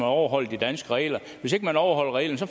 overholder de danske regler hvis ikke man overholder reglerne får